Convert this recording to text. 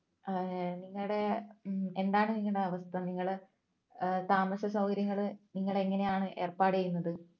നിങ്ങടെ ഏർ എന്താണ് നിങ്ങളുടെ അവസ്ഥ നിങ്ങടെ ഏർ താമസസൗകര്യങ്ങള് നിങ്ങൾ എങ്ങനെയാണ് ഏർപ്പാട് ചെയ്യുന്നത്